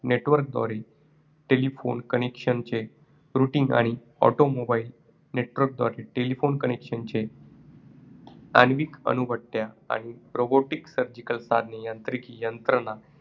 Network द्वारे telephone connection चे rooting आणि automobile, network द्वारे telephone connection चे आण्विक अणुभट्ट्या आणि robotic सर्जिकल साधने यांत्रिक यंत्रणा